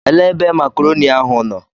Elee ebe makrọni ahụ nọ?